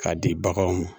K'a di baganw ma